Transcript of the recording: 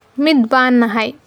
Mid baan nahay.